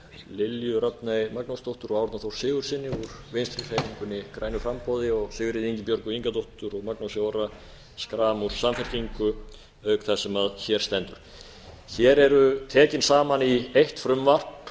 lilju rafney magnúsdóttur og árna þór sigurðssyni úr vinstri hreyfingunni grænu framboði og sigríði ingibjörgu ingadóttur og magnúsi orra schram úr samfylkingu auk þess sem hér stendur hér eru tekin saman í eitt frumvarp